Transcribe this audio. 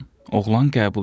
Oğlan qəbul edir.